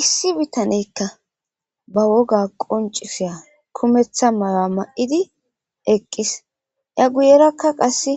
Issi bitaneykka ba woga qoncisiya kumetha maya ma7idi eqqis ya guyerakka qasse